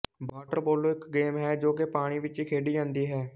water polo ਇੱਕ game ਹੈ ਜੋ ਕਿ ਪਾਣੀ ਵਿੱਚ ਖੇਡੀ ਜਾਂਦੀ ਹੈ